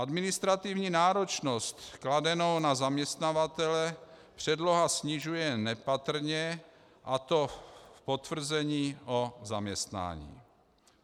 Administrativní náročnost kladenou na zaměstnavatele předloha snižuje nepatrně, a to v potvrzení o zaměstnání.